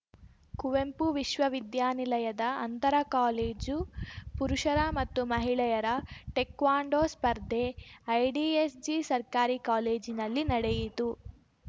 ಕುವೆಂಪು ವಿಶ್ವವಿದ್ಯಾನಿಲಯದ ಅಂತರ ಕಾಲೇಜು ಪುರುಷರ ಮತ್ತು ಮಹಿಳೆಯರ ಟೆಕ್ವಾಂಡೋ ಸ್ಪರ್ಧೆ ಐಡಿಎಸ್‌ಜಿ ಸರ್ಕಾರಿ ಕಾಲೇಜಿನಲ್ಲಿ ನಡೆಯಿತು